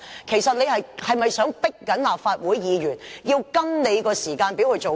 其實，他是否在強迫立法會議員跟着他的時間表做事？